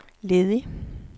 ledig